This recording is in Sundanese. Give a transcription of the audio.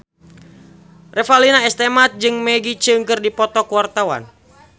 Revalina S. Temat jeung Maggie Cheung keur dipoto ku wartawan